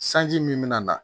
Sanji min mi na